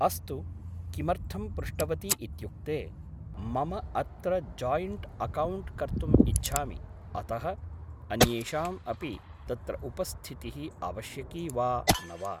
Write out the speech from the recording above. अस्तु किमर्थम् पृष्टवती इत्युक्ते मम अत्र जाइण्ट् अकौण्ट् कर्तुम् इच्छामि अतः अन्येषाम् अपि तत्र उपस्थितिः आवश्यकी वा न वा